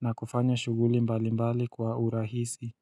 Na kufanya shuguli mbali mbali kwa urahisi.